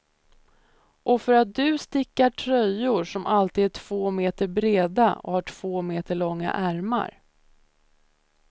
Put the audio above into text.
Och för att du stickar tröjor som alltid är två meter breda och har två meter långa ärmar.